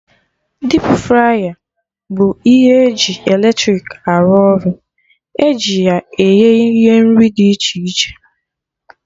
Dipu fraya bụ ihe ji eletrik arụ ọrụ, eji ya eghe ihe nri dị iche iche